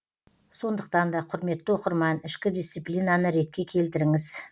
сондықтан да құрметті оқырман ішкі дисциплинаны ретке келтіріңіз